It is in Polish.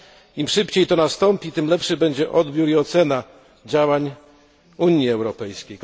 Im szybciej to nastąpi, tym lepszy będzie odbiór i ocena działań Unii Europejskiej.